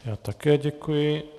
Já také děkuji.